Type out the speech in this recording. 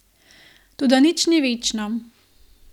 Toda nič ni večno.